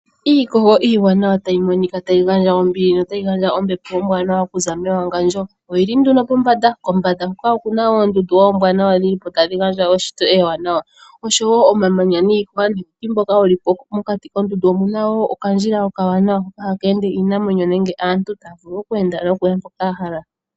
Iikogo iiwanawa tayi monika tayi gandja ombili notayi gandja ombepo ombwanawa okuza mewagandjo. Oyili nduno pombanda, kombanda hoka okuna oondundu oombwanawa dhili tadhi gandja eshito, oshowo omamanya niiti mbyoka yili po. Mokati koondundu omuna woo okandjila oka wanawa haka ende iinamwenyo nende aantu. Taya vulu okuya mboka yahala.